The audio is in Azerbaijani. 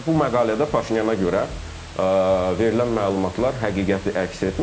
Və bu məqalədə Paşinyana görə verilən məlumatlar həqiqəti əks etmir.